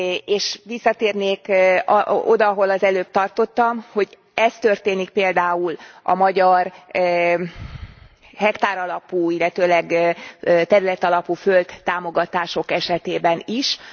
És visszatérnék oda, ahol az előbb tartottam, hogy ez történik például a magyar hektáralapú, illetőleg területalapú földtámogatások esetében is.